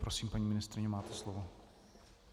Prosím, paní ministryně, máte slovo.